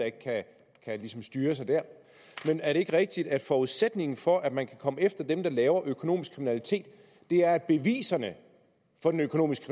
ikke kan styre sig der men er det ikke rigtigt at forudsætningen for at man kan komme efter dem der begår økonomisk kriminalitet er at beviserne for den økonomiske